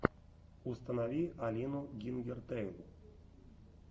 установи алину гингертэйл